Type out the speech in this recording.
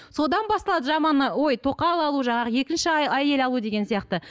содан басталады жаман ой тоқал алу жаңағы екінші әйел алу деген сияқты